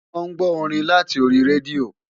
Wọ́n ń gbọ́ orin láti orí rédíò